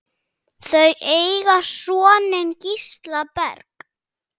Þau eiga soninn Gísla Berg.